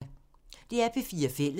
DR P4 Fælles